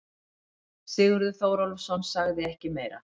Sigurður Þórólfsson sagði ekki meira.